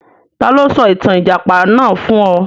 Ta ló sọ ìtàn Ìjàpá náà fún ọ?